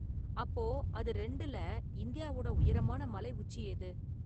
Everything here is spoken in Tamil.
அப்போ அது ரெண்டுல இந்தியாவோட உயரமான மலை உச்சி எது?